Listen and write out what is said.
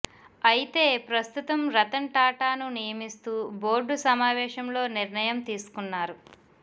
అయితే ప్రస్తుతం రతన్ టాటాను నియమిస్తూ బోర్డు సమావేశంలో నిర్ణయం తీసుకున్నారు